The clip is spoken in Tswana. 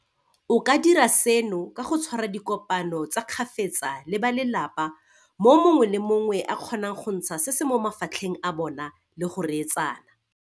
O ka dira seno ka go tshwara dikopano tsa kgafetsa le balelapa moo mongwe le mongwe a kgonang go ntsha se se mo mafatlheng a bona le go reetsana.